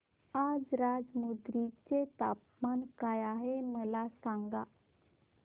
आज राजमुंद्री चे तापमान काय आहे मला सांगा